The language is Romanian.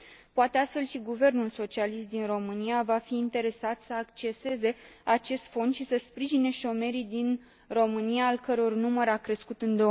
Poate, astfel, și guvernul socialist din România va fi interesat să acceseze acest fond și să sprijine șomerii din România, al căror număr a crescut în